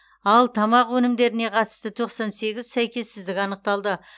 ал тамақ өнімдеріне қатысты тоқсан сегіз сәйкессіздік анықталды